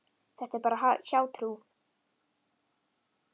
Þetta er bara hjátrú.